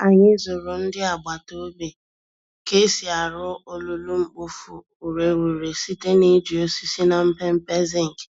Anyị zụrụ ndị agbata obi ka e si arụ olulu-mkpofu-ureghure site n'iji osisi na mpempe zinc.